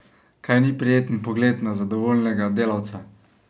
Kaj ni prijeten pogled na zadovoljnega delavca?